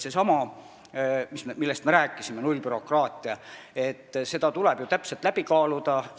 Seesama, millest me rääkisime, nullbürokraatia, see tuleb ju täpselt läbi kaaluda.